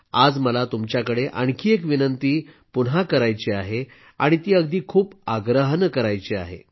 आज मला तुमच्या कडे आणखी एक विनंती पुन्हा करायची आहे आणि ती अगदी खूप आग्रहानं करायची आहे